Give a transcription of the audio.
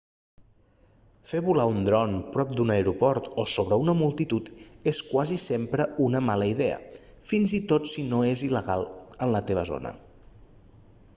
fer volar un dron prop d'un aeroport o sobre una multitud és quasi sempre una mala idea fins i tot si no és il·legal en la teva zona